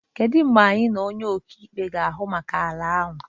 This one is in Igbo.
Kedụ mgbe anyị na onye ọkaikpe ga-ahụ maka okwu ani ahụ?